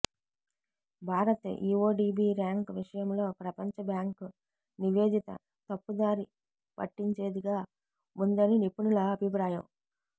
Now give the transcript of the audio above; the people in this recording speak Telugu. భారత్ ఈవోడీబీ ర్యాంకు విషయంలో ప్రపంచబ్యాంకు నివేదిక తప్పుదారి పట్టించేదిగా ఉందని నిపుణుల అభిప్రాయం